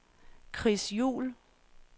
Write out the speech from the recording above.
Chris Juhl